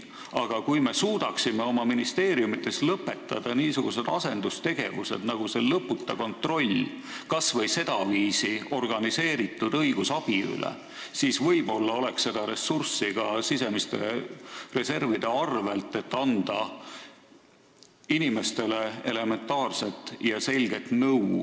Aga kui me suudaksime ministeeriumides lõpetada niisugused asendustegevused nagu see lõputa kontroll kas või sedaviisi organiseeritud õigusabi üle, siis võib-olla leiaks sisemiste reservide arvelt ressurssi, et anda inimestele elementaarset selget nõu.